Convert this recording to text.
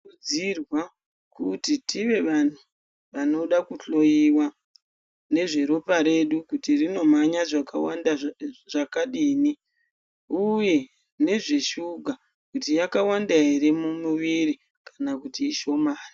Kuudzirwa kuti tive vantu vanoda kuhloiwa nezveropa redu kuti rinomhanya zvakawanda zvakadini uye nezveshuga kuti yakawanda here mumiviri kana kuti ishomani.